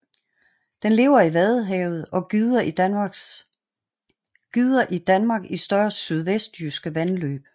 Den lever i Vadehavet og gyder i Danmark i større sydvestjyske vandløb